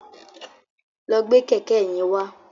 Lọ gbé kẹ̀kẹ́ yẹn wá.